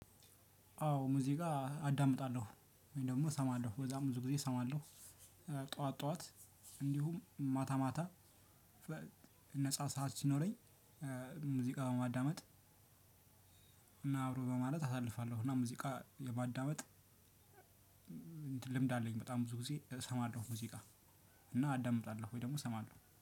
አዎ ሙዚቃ አዳምጣለሁ ወይም ደግሞ እሰማለሁ በዛም ብዙ ጊዜ እሰማለሁ ጠዋት ጠዋት እንዲሁም ማታ ማታ ነፃ ሰዓት ሲኖረኝ። ሙዚቃ በማዳመጥ እና አብሮ በማለት አሳልፋለሁ። እና ሙዚቃ የማዳመጥ ልምድ አለኝ በጣም ብዙ ጊዜ እሰማለሁ። ሙዚቃ እና አዳምጣለሁ ወይ ደግሞ እሰማለሁ